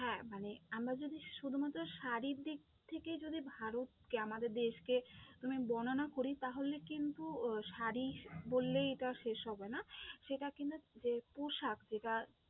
হ্যাঁ, মানে আমরা যদি শুধুমাত্র সশরীর দিক থেকে যদি ভারতকে আমাদের দেশকে আমি বর্ণনা করি তাহলে কিন্তু আহ শাড়ি বললে এটা শেষ হবে না, সেটা কিন্তু আহ পোশাক বা